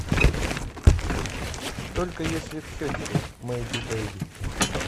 только если в щечку мэйби бэйби